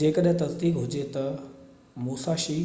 جيڪڏهن تصديق هجي ته موساشي